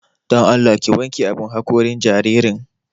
Don Allah ki wanke abun haƙorin jaririn.